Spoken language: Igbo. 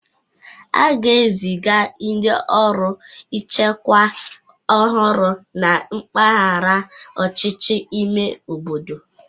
A ga-eziga ndị ọrụ nchekwa ọhụrụ na mpaghara ọchịchị ime obodo